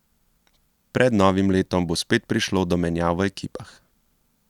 Pred novim letom bo spet prišlo do menjav v ekipah.